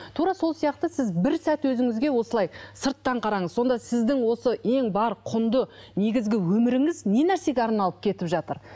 тура сол сияқты сіз бір сәт өзіңізге осылай сырттан қараңыз сонда сіздің осы ең бар құнды негізгі өміріңіз не нәрсеге арналып кетіп жатыр